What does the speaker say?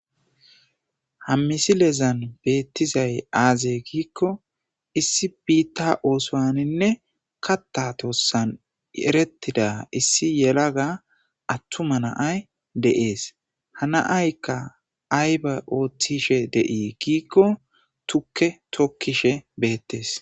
Ha misilezan beettizay aaze giikko issi biitta oosuwaninne katta toossan erettida issi yelaga attuma naay dees ha na'aykka ayba ooththishe de'ii giikko tukke tokkishe beettees.